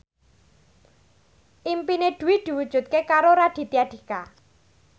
impine Dwi diwujudke karo Raditya Dika